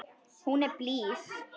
Hún er blíð.